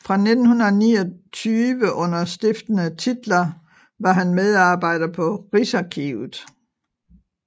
Fra 1929 under stiftende titler var han medarbejder på Rigsarkivet